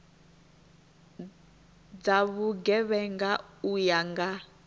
dza vhugevhenga u ya nga